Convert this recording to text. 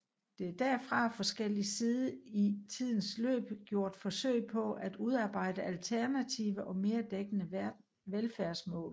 Der er derfor fra forskellig side i tidens løb gjort forsøg på at udarbejde alternative og mere dækkende velfærdsmål